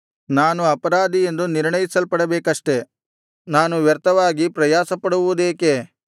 ನಾನು ಅಪರಾಧಿಯೆಂದು ನಿರ್ಣಯಿಸಲ್ಪಡಬೇಕಷ್ಟೆ ನಾನು ವ್ಯರ್ಥವಾಗಿ ಪ್ರಯಾಸಪಡುವುದೇಕೆ